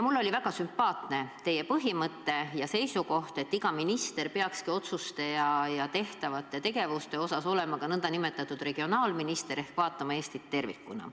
Mulle oli väga sümpaatne teie põhimõte ja seisukoht, et iga minister peakski oma otsuste ja tegevuste mõttes olema ka n-ö regionaalminister ehk vaatama Eestit tervikuna.